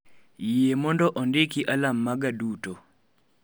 Yie mondo ondiki alarm maga duto